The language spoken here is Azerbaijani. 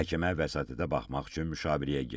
Məhkəmə vəsatətə baxmaq üçün müşaviriyyəyə getdi.